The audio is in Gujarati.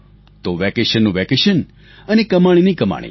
તો વેકેશનનું વેકેશન અને કમાણીની કમાણી